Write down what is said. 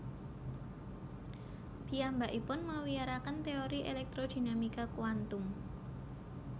Piyambakipun mawiyaraken téori elektrodinamika kuantum